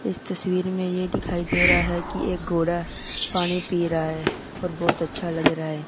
इस तस्वीर में ये दिखाई दे रहा है की एक घोड़ा पानी पी रहा है और बहुत अच्छा लग रहा है।